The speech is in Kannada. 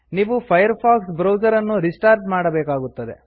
ನೀವು ಫೈರ್ಫಾಕ್ಸ್ ಬ್ರೌಸರ್ ಅನ್ನು ರಿಸ್ಟಾರ್ಟ್ ಮಾಡಬೇಕಾಗುತ್ತದೆ